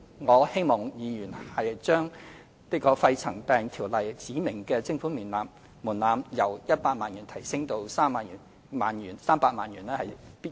我希望議員支持，將《條例》指明的徵款門檻由100萬元提高至300萬元。